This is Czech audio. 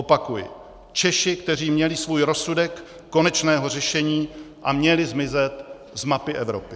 Opakuji, Češi, kteří měli svůj rozsudek konečného řešení a měli zmizet z mapy Evropy.